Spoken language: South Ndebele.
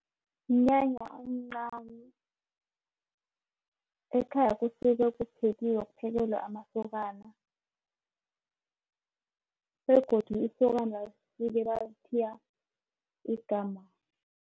Mnyanya omncani ekhaya kusuke kuphekiwe kuphekelwe amasokana begodu isokana libe balithiya igama.